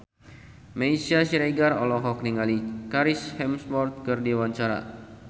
Meisya Siregar olohok ningali Chris Hemsworth keur diwawancara